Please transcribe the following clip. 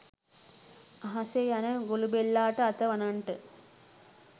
අහසේ යන ගොළුබෙල්ලාට අත වනන්ට